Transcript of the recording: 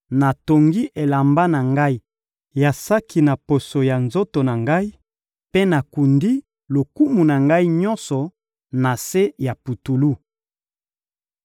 Natongi elamba na ngai ya saki na poso ya nzoto na ngai mpe nakundi lokumu na ngai nyonso na se ya putulu.